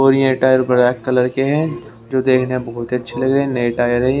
और ये tyre black colour के हैं जो देखने में बहोत ही अच्छे लगे हैं ये टायर है।